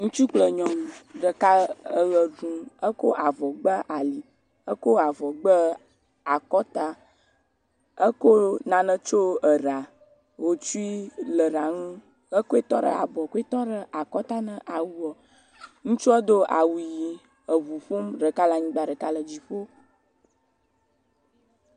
Ŋutsu kple nyɔnu, ɖeka eʋe ɖum. Ekɔ avɔ gba ali. Ekɔ avɔ gbɛɛ akɔta. Eko nane tsyo ɛra, hotsui le era ŋu. Ekoe tɔ ɖe abɔ, koe tɔ ɖe akɔta na awuɔ. Ŋutsuɔ do awu yii eŋu ƒom. Ɖeka le anyigba, ɖeka le dziƒo.